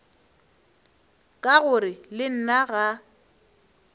ka gore le nna ga